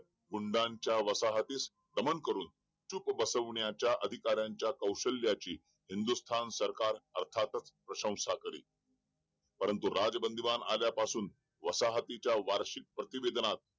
गुंड्यांच्या वसाहतीत नमन करून चूप बसवण्याच्या अधिकाऱ्यांच्या कौशल्याची हिंदुस्थान सरकार अर्थातच प्रशंसा करेल परंतु राज बंदिवान आल्यापासून वसाहतीच्या वार्षिक प्रतिबंधनात